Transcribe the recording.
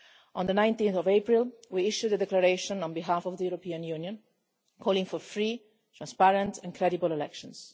On 19 April, we issued a declaration on behalf of the European Union calling for free, transparent and credible elections.